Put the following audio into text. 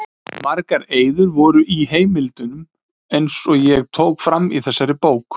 Margar eyður voru og í heimildunum, eins og ég tók fram í þessari bók.